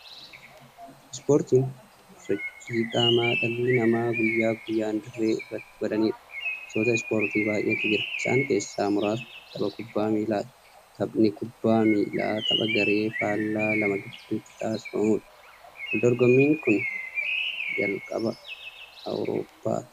Ispoortiin sochii qaamaa dhalli namaa guyyaa guyyaan dirree irratti godhaniidha. Gosoota ispoortii baay'eetu jira. Isaan keessaa muraasni tabba kubbaa miillaati. Taphni kubbaa miillaa tapha garee faallaa lama gidduutti taasifamuudha. Waldorgommiin kan jalqabe Awurooppaatti.